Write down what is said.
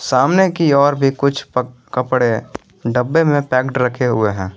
सामने की और भी कुछ कपड़े डब्बे में पैक्ड रखे हुए हैं।